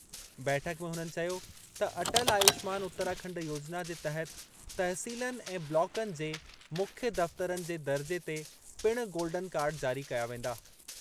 बैठक में हुननि चयो त अटल आयुष्मान उत्तराखंड योजना जे तहत तहसीलनि ऐं ब्लॉकनि जे मुख्य दफ़्तरनि जे दर्जे ते पिणु गोल्डन कार्ड जारी कया वेंदा।